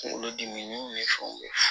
Kunkolo dimiw ni fɛnw ye